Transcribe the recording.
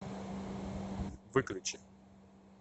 выключи